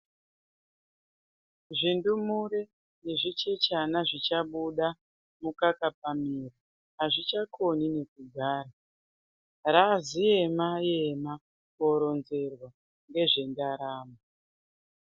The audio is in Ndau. Zvindumure nezvichechana zvichabuda mukaka pamiro hazvichakoni nekugara, raaziema-ema kuoronzerwa ngezvendaramo.